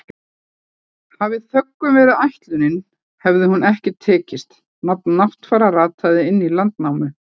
Hafi þöggun verið ætlunin hefur hún ekki tekist, nafn Náttfara rataði inn í Landnámu.